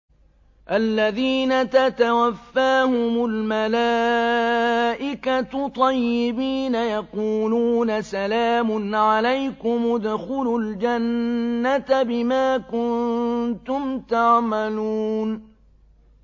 الَّذِينَ تَتَوَفَّاهُمُ الْمَلَائِكَةُ طَيِّبِينَ ۙ يَقُولُونَ سَلَامٌ عَلَيْكُمُ ادْخُلُوا الْجَنَّةَ بِمَا كُنتُمْ تَعْمَلُونَ